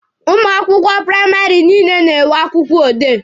Ụmụ akwụkwọ praịmarị niile na-enwe akwụkwọ odee.